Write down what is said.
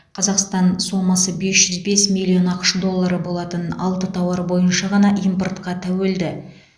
қазақстан сомасы бес жүз бес миллион ақш доллары болатын алты тауар бойынша ғана импортқа тәуелді